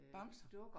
Bamser